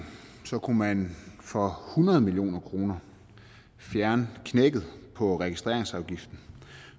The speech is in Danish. kunne man for hundrede million kroner fjerne knækket på registreringsafgiften